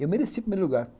Eu merecia o primeiro lugar.